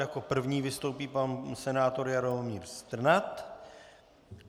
Jako první vystoupí pan senátor Jaromír Strnad.